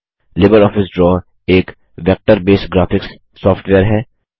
LibreOffice Draw एक vector base graphics software है